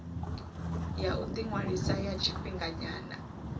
ya u ḓiṅwalisa ya tshifhinganyana